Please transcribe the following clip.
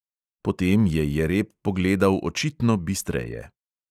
Potem je jereb pogledal očitno bistreje.